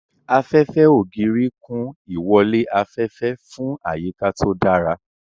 Afẹ́fẹ́ ògiri kún ìwọlé afẹ́fẹ́ fún àyíká tó dára.